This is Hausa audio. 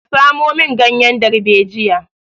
Ka samo min ganyen darbejiya!